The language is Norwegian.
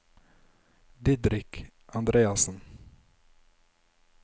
Didrik Andreassen